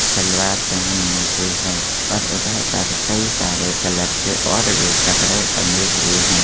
शलवार पहन नखि है और इधर पर कई सारे कलर के और भी कपड़े टंगे हुए हैं।